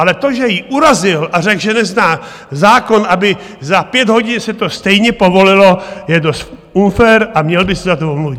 Ale to, že ji urazil a řekl, že nezná zákon, aby za pět hodin se to stejně povolilo, je dost unfér a měl by se za to omluvit.